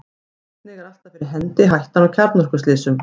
einnig er alltaf fyrir hendi hættan á kjarnorkuslysum